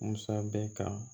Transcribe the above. Musa bɛ kan